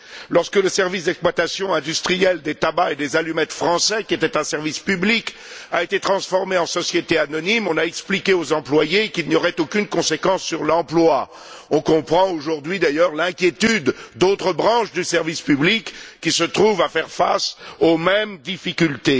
Lorsque le service d'exploitation industriel des tabacs et des allumettes français, qui était un service public, a été transformé en société anonyme, on a expliqué aux employés qu'il n'y aurait aucune conséquence sur l'emploi. On comprend aujourd'hui, d'ailleurs, l'inquiétude d'autres branches du service public qui se trouvent à faire face aux mêmes difficultés.